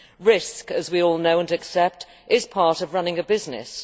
Risk, as we all know and accept, is part of running a business.